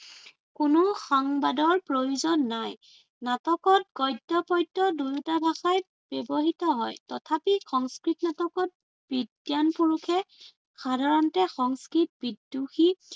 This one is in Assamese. কোনো সংবাদৰ প্ৰয়োজন নাই। নাটকত গদ্য় পদ্য় দুয়োটা ভাষাই ব্য়ৱহৃত হয়। তথাপি সংস্কৃত নাটকত বিদ্বান পুৰুষে সাধাৰণতে সংস্কৃত বিদ্ৰোহী